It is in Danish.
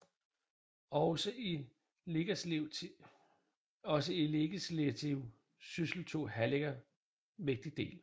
Også i legislativ syssel tog Hallager vigtig del